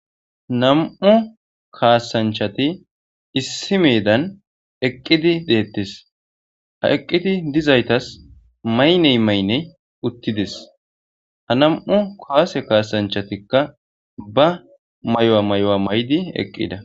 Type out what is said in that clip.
nam7u kaasanchati issi meedan eqqidi deettis ha eqqidi dizaytas mayney mayne uttidis ha nam7u kuwase kaasanchatikka ba mayuwa mayuwa may7di eqqida